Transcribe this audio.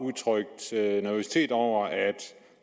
udtrykt nervøsitet over at